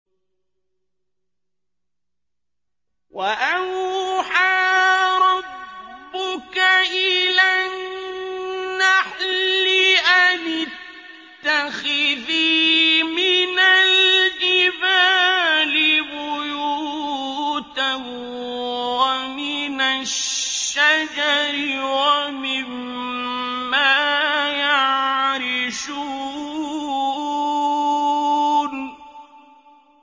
وَأَوْحَىٰ رَبُّكَ إِلَى النَّحْلِ أَنِ اتَّخِذِي مِنَ الْجِبَالِ بُيُوتًا وَمِنَ الشَّجَرِ وَمِمَّا يَعْرِشُونَ